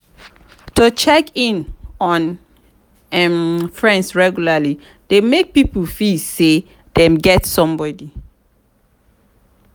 to check in on um friends regularly de make pipo feel say dem get somebody